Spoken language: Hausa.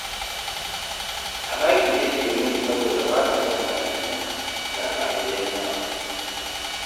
A daƙi take wuni saboda ba ta son hayaniya, ga ta a gidan yawa